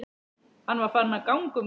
Hann var farinn að ganga um gólf.